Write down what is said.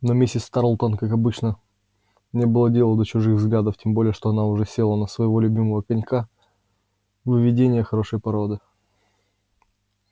но миссис тарлтон как обычно не было дела до чужих взглядов тем более что она уже села на своего любимого конька выведение хорошей породы